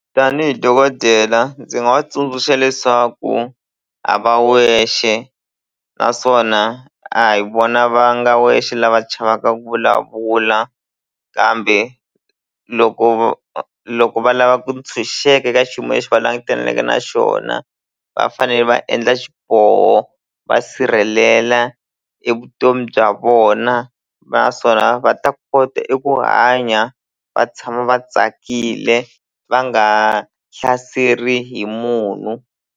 Tanihi dokodela ndzi nga va tsundzuxa leswaku a va wexe naswona a hi vona va nga wexe lava chavaka ku vulavula kambe loko loko va lava ku ntshunxeka eka xiyimo lexi va langutaneke na xona va fanele va endla xiboho va sirhelela e vutomi bya vona naswona va ta kota eku hanya va tshama va tsakile va nga hlaseri hi munhu.